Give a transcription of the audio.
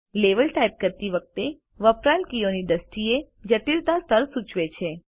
level type કરતી વખતે વપરાયેલ કીઓની દ્રષ્ટિએ જટિલતા સ્તર સૂચવે છે